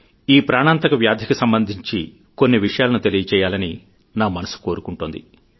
ఈ ప్రాణాంతక వ్యాధికి సంబంధించి కొన్ని విషయాలను తెలియజేయాలని నా మనసు కోరుకుంటోంది